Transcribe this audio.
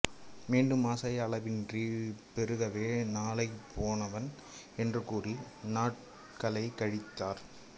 மீண்டும் ஆசை அளவின்றிப் பெருகவே நாளைப்போவேன் என்று கூறி நாட்களைக்கழித்தார்